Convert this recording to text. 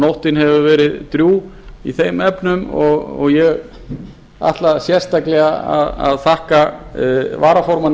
nóttin hefur verið drjúg í þeim efnum og ég ætla sérstaklega að þakka varaformanni